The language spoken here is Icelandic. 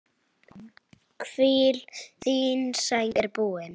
Hvíl, þín braut er búin.